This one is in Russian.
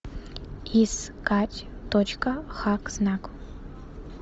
искать точка хак знак